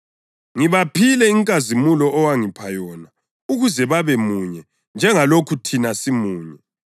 Ngibaphile inkazimulo owangipha yona ukuze babemunye njengalokhu thina simunye: